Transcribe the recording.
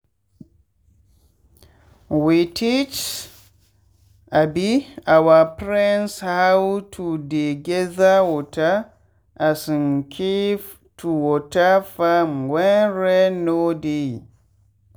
we teach um our friends how to dey gather water um keep to water farmwhen rain no dey.